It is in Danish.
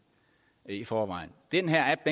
i forvejen den her app